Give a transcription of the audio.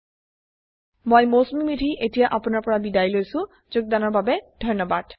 I I T Bombay ৰ পৰা মই মৌচুমী মেধী এতিয়া আপুনাৰ পৰা বিদায় লৈছো যোগদানৰ বাবে ধন্যবাদ